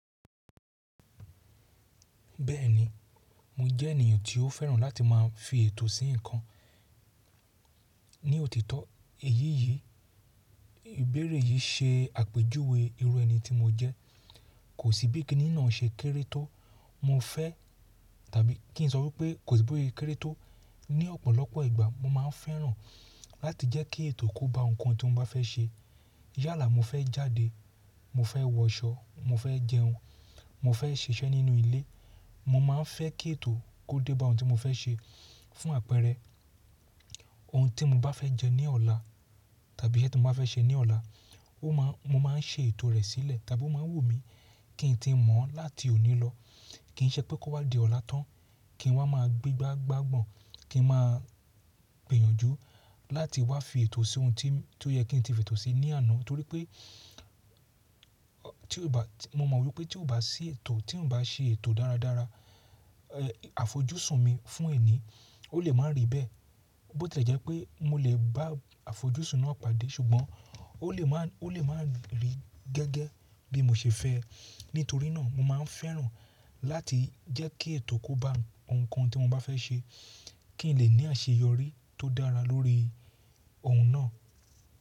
Bẹ́ẹ̀ni, mo jẹ́ ènìyàn tí ó fẹ́ràn láti má a fi ètò sí nǹkan. Ni òtítọ́ èyí yìí, ìbéèrè yìí se àpèjúwe irú ẹni tí mo jẹ́. Kò sí bíi kinínà ṣe kéré tó mo fẹ́ tàbí kí n sọ wípé kò sí bíi kéré tó. Ni ọ̀pọ̀lọpọ̀ ìgbà mo má a fẹ́ràn láti jẹ́ kí ètò kó ba nǹkan tí mo bá fẹ́ ṣe. Yálà mo fẹ́ jáde, mo fẹ́ wọṣọ, mo fẹ́ jẹun, mo fẹ́ ṣiṣẹ́ nínú ilé. Mo má a fẹ́ kí ètò kó dé ba ohun tí mo fẹ́ ṣe. Fún àpẹẹrẹ ohun tí mo bá fẹ́ jẹ ní ọ̀la tàbí iṣẹ́ tí mo bá fẹ́ ṣe ní ọ̀la, mo má a n se ètò rẹ̀ sílẹ̀ tàbí ó má a wù mí kí n ti mọ̀ láti òní lọ. Kì í ṣe pé kó wá di ọ̀la tán kí n wá má a gbegbá gbagbọ́n, kí n má a gbìyànjú láti wá fi ètò sí ohun tí ó yẹ kí n ti fi ètò sí ní àná. Torí pé mo mọ wípé tí ò bá sí ètò, tí ò bá ṣe ètò dáradára, àfojúsùn mi fún ẹni ó lè má a rí bẹ́ẹ̀. Bó ti jẹ́ pé mo lè bá àfojúsùn náà pàdé ṣùgbọ́n ó lè má a rí gẹ́gẹ́ bí mo ṣe fẹ́ ẹ. Nítorí náà mo má a fẹ́ràn láti jẹ́ kí ètò kó ba nǹkan tí mo bá fẹ́ ṣe kí n lè ní àṣeyọrí tó dára lórí ohun náà.